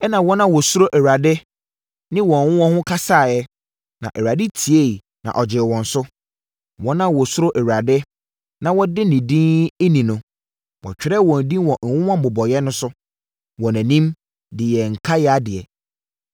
Ɛnna wɔn a wɔsuro Awurade no ne wɔn ho wɔn ho kasaeɛ, na Awurade tieeɛ na ɔgyee wɔn so. Wɔn a wɔsuro Awurade na wɔdi ne din ni no, wɔtwerɛɛ wɔn din wɔ nwoma mmobɔeɛ so wɔ nʼanim de yɛɛ nkaeɛ adeɛ.